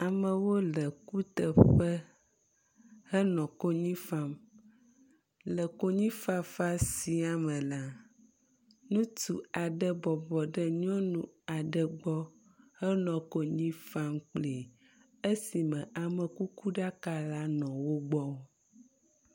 Amewo le kuteƒe henɔ kony am. Le konyifafa sia me la, ŋutsu aɖe bɔbɔ ɖe nyɔnu aɖe gbɔ henɔ konyi fam kpli esime amekukuɖaka la nɔ wo gbɔ.